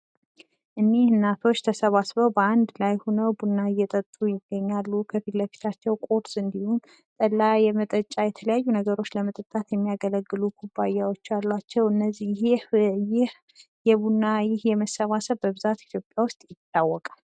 እኝህ እናቶች ተሰባስበዉ በአንድ ላይ ሁነዉ ቡና እየጠጡ ይገኛሉ፤ ከፊት ለፊታቸዉ ቁርስ እንዲሁም እና የመጠጫ የተለያዩ ነገሮች ለመጠጣት የሚያገለግሉ ኩባያዎች አሉዋቸዉ፤ እና ይህ የቡና መሰባሰብ በብዛት በኢትዮጵያ ዉስጥ ይታወቃል።